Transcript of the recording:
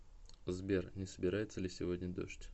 сбер не собирается ли сегодня дождь